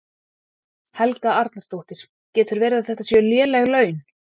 Helga Arnardóttir: Getur verið að þetta séu léleg laun?